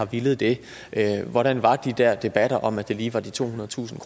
ville det hvordan var de der debatter om at det lige var de tohundredetusind